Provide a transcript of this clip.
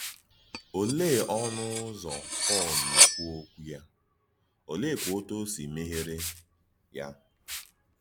Ọ̀lee ọ̀nụ̀ ùzò Pọ́l na-ekwú òkwú yá, ólèékwà òtú ọ sị mèghèèrè yá?